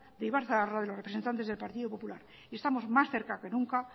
de ibarzaharra de los representantes del partido popular estamos más cerca que nunca